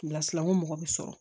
Lasila ko mɔgɔ bɛ sɔrɔ